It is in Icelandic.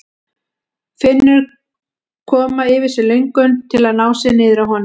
Finnur koma yfir sig löngun til að ná sér niðri á honum.